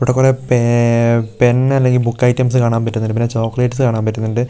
ഇവിടെ കൊറേ പേ-പെന്ന് അല്ലെങ്കിൽ ബുക്ക്‌ ഐറ്റംസ് കാണാൻ പറ്റുന്നുണ്ട് പിന്നെ ചോക്ലേറ്റ്സ് കാണാൻ പറ്റുന്നുണ്ട് --